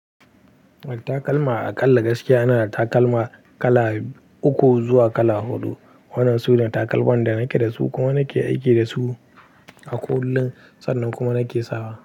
Takalma a ƙalla gaskiya ina da takalma kala uku zuwa kala huɗu. Wanan su ne takalman da nake da su kuma nake aiki da su a kullun, sannan kuma nake sawa.